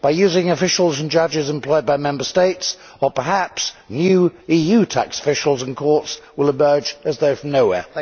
By using officials and judges employed by Member States? Or perhaps new EU tax officials and courts will emerge, as though from nowhere.